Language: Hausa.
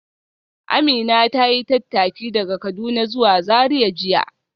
Amina ta yi tattaki daga Kaduna zuwa Zariya jiya